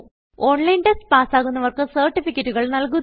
online test പാസ്സാകുന്നവർക്ക് സർട്ടിഫികറ്റുകൾ നല്കുന്നു